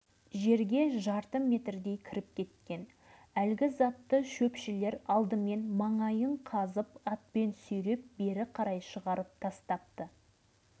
өзім соғыста болған адаммын бомбаның неше түрін де көргенмін мынау дәл солар сияқты болмағанмен көп жері